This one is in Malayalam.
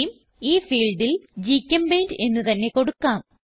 തേമെ ഈ ഫീൽഡിൽ GChemPaintഎന്ന് തന്നെ കൊടുക്കാം